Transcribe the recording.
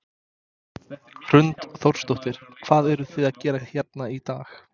Hrund Þórsdóttir: Hvað eruð þið að gera hérna í dag?